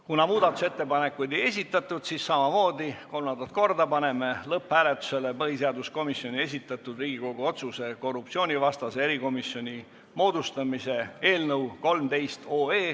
Kuna muudatusettepanekuid ei esitatud, siis panen lõpphääletusele põhiseaduskomisjoni esitatud Riigikogu otsuse "Korruptsioonivastase erikomisjoni moodustamine" eelnõu .